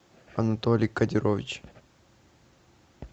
анатолий кодирович